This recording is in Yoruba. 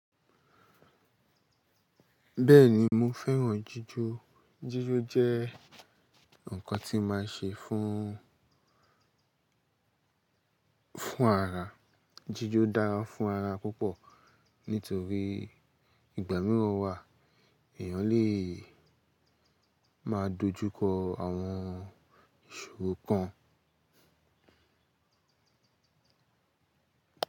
Bẹ́ẹ̀ni mo fẹ́ràn jíjó. Jíjó jẹ́ ǹkan tí màá ṣe fún ara. Jíjó dára fún ara púpọ̀, nítorí ìgbà mìíràn wà èyàn lè máa dojúkọ àwọn ìṣòro kan.